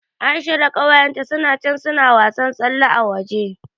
Aisha da ƙawayenta suna can suna wasan tsalle a waje.